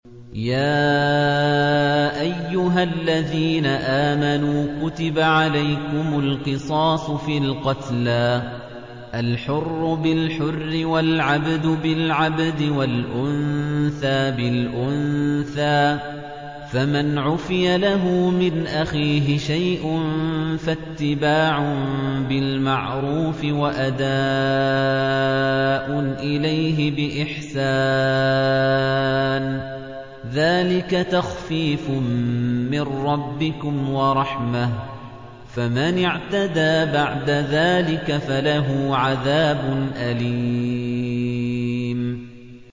يَا أَيُّهَا الَّذِينَ آمَنُوا كُتِبَ عَلَيْكُمُ الْقِصَاصُ فِي الْقَتْلَى ۖ الْحُرُّ بِالْحُرِّ وَالْعَبْدُ بِالْعَبْدِ وَالْأُنثَىٰ بِالْأُنثَىٰ ۚ فَمَنْ عُفِيَ لَهُ مِنْ أَخِيهِ شَيْءٌ فَاتِّبَاعٌ بِالْمَعْرُوفِ وَأَدَاءٌ إِلَيْهِ بِإِحْسَانٍ ۗ ذَٰلِكَ تَخْفِيفٌ مِّن رَّبِّكُمْ وَرَحْمَةٌ ۗ فَمَنِ اعْتَدَىٰ بَعْدَ ذَٰلِكَ فَلَهُ عَذَابٌ أَلِيمٌ